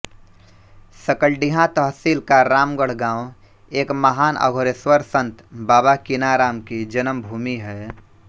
सकलडीहा तहसील का रामगढ़ गाँव एक महान अघोरेश्वर संत बाबा कीनाराम की जन्मभूमि है